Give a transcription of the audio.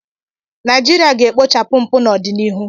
Naijiria ga-ekpochapụ mpụ n'ọdịnihu.